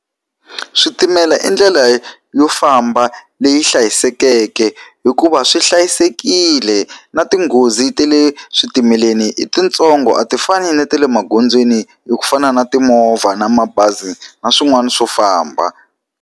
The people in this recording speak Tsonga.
Switimela i ndlela yo famba leyi hlayisekeke hikuva swi hlayisekile, na tinghozi ta le switimeleni i tintsongo a ti fani na ta le magondzweni ku fana na timovha, na mabazi, na swin'wana swo famba.